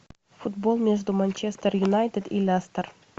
футбол между манчестер юнайтед и лестер